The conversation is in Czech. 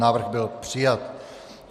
Návrh byl přijat.